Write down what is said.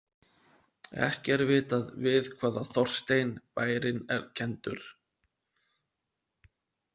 Ekki er vitað við hvaða Þorstein bærinn er kenndur.